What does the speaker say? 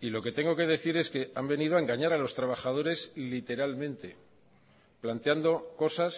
y lo que tengo que decir es que han venido a engañar a los trabajadores literalmente planteando cosas